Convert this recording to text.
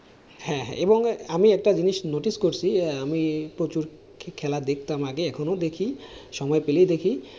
হ্যাঁ হ্যাঁ এবং আমি একটা জিনিস notice করছি আমি প্রচুর খেলা দেখতাম আগে, এখনো দেখি, সময় পেলেই দেখি।